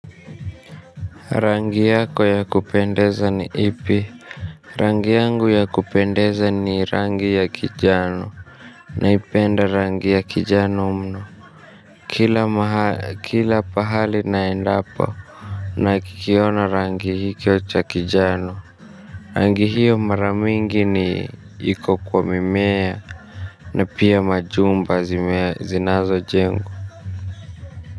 Rangi yako ya kupendeza ni ipi rangi yangu ya kupendeza ni rangi ya kijano naipenda rangi ya kijano mno kila maha kila pahali naendapo na kikiona rangi hichocha kijano. Rangi hiyo mara mingi ni iko kwa mimea na pia majumba zinazo jengwa.